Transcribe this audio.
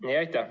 Aitäh!